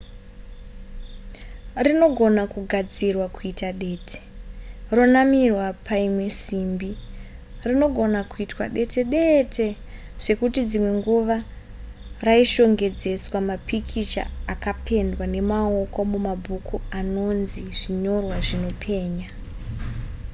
rinogona kugadzirwa kuita dete ronamirwa paimwe simbi rinogona kuitwa dete dete zvekuti dzimwe nguva raishongedzeswa mapikicha akapendwa nemaoko mumabhuku anonzi zvinyorwa zvinopenya